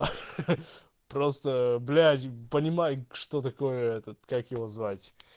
ха-ха просто блять понимаю что такое этот как его звать